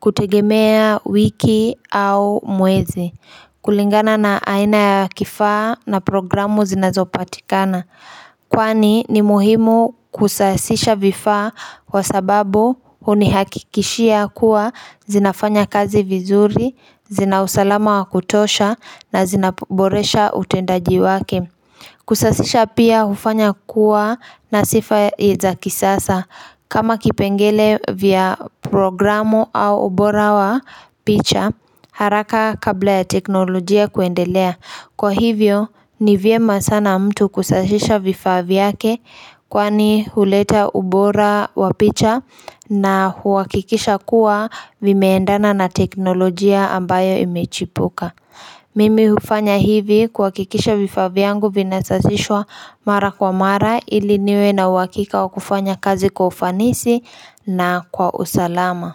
kutegemea wiki au mwezi kulingana na aina ya kifaa na programu zinazopatikana. Kwani ni muhimu kusasisha vifaa kwa sababu hunihakikishia kuwa zinafanya kazi vizuri, zinausalama wakutosha na zinaboresha utendaji wake Kusasisha pia hufanya kuwa na sifa za kisasa. Kama kipengele vya programu au ubora wa picha haraka kabla ya teknolojia kuendelea. Kwa hivyo ni vyema sana mtu kusasisha vifaa vyake kwani huleta ubora wa picha na huakikisha kuwa vimeendana na teknolojia ambayo imechipuka. Mimi hufanya hivi kuhakikisha vifaa vyangu vinasasishwa mara kwa mara ili niwe na uhakika wa kufanya kazi kwa ufanisi na kwa usalama.